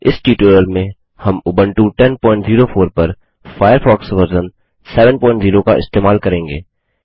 इस ट्यूटोरियल में हम उबंटू 1004 पर फ़ायरफ़ॉक्स वर्ज़न 70 इस्तेमाल करेंगे